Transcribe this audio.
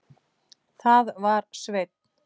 Það var Sveinn.